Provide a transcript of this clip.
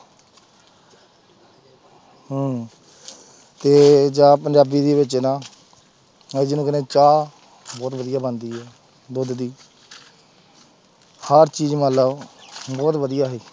ਹਮ ਤੇ ਜਾਂ ਪੰਜਾਬੀ ਦੇ ਵਿੱਚ ਨਾ ਅਸੀਂ ਜਿਹਨੂੰ ਕਹਿੰਦੇ ਹਾਂ ਚਾਹ ਬਹੁਤ ਵਧੀਆ ਬਣਦੀ ਹੈ ਦੁੱਧ ਦੀ ਹਰ ਚੀਜ਼ ਮਤਲਬ ਬਹੁਤ ਵਧੀਆ ਸੀ।